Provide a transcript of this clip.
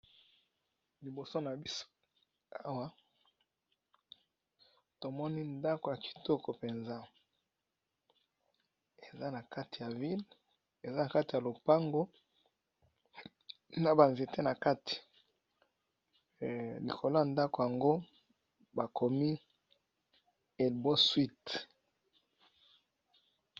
Liboso na biso awa tomoni ndako ya kitoko mpenza eza na kati ya ville eza na kati ya lopango na banzete na kati likolo ya ndako yango bakomi elbo suite.